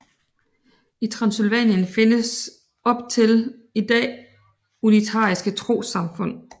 I Transsylvanien findes op til i dag unitariske trossamfund